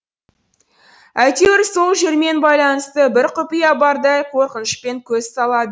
әйтеуір сол жермен байланысты бір құпия бардай қорқынышпен көз салады